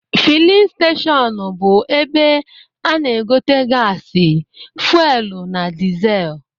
Filin steshọnụ bụ ebe a na-egote gasi, fuelu na dịzel